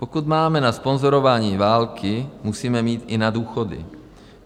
Pokud máme na sponzorování války, musíme mít i na důchody.